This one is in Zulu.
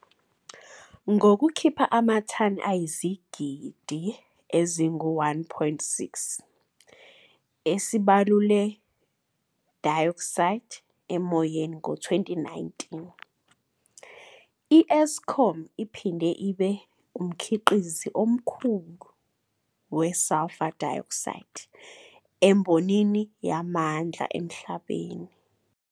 Ngokukhipha amathani ayizigidi ezingu-1.6 esibabule-dioxide emoyeni ngo-2019, i-Eskom iphinde ibe umkhiqizi omkhulu kakhulu we-sulfur dioxide embonini yamandla emhlabeni.